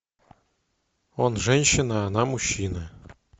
он женщина она мужчина